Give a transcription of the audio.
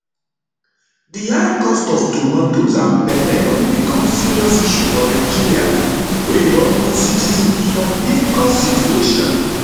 di high cost of tomatoes and pepper don become serious issue for nigeria wey don put citizens for difficult situation